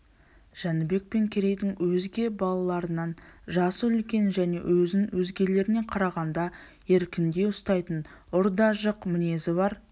жәнібек пен керейдің өзге балаларынан жасы үлкен және өзін өзгелеріне қарағанда еркіндеу ұстайтын ұр да жық мінезі бар